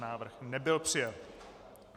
Návrh nebyl přijat.